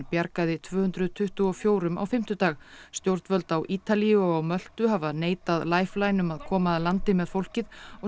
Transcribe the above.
bjargaði tvö hundruð tuttugu og fjórum á fimmtudag stjórnvöld á Ítalíu og á Möltu hafa neitað Lifeline um að koma að landi með fólkið og